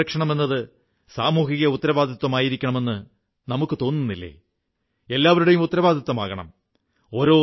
ജലസംരക്ഷണമെന്നത് സാമൂഹിക ഉത്തരവാദിത്തമായിരിക്കണമെന്ന് നമുക്കു തോന്നുന്നില്ലേ എല്ലാവരുടെയും ഉത്തരവാദിത്തമാകണം